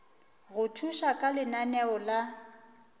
go thuša ka lenaneo la